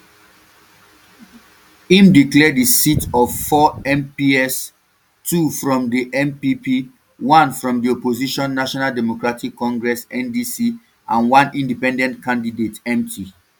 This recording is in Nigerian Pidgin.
im declare di seats of four mps two from di npp one from di opposition national democratic congress ndc and one independent candidate empty